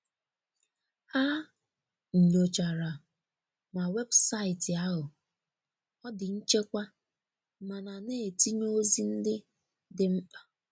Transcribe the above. Ha nnyochara ma weebụsaịti ahu ọ di nchekwa mana na etinye ozi ndi di mkpa.